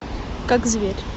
как зверь